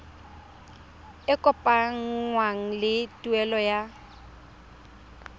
e kopanngwang le tuelo ya